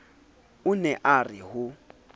o ne a re ho